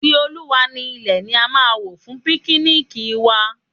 Ti Olúwa ni ilẹ̀ ni a máa wò fún píknìkì wa.